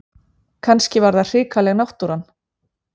Kannski var það hrikaleg náttúran.